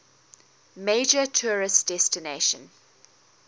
major tourist destination